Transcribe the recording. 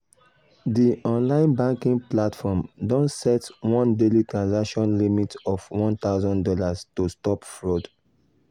di online banking platform don set one daily transaction limit of one thousand dollars to stop fraud.